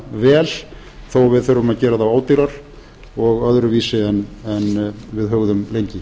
vel þó að við þurfum að gera ódýrar og öðruvísi en við hugðum lengi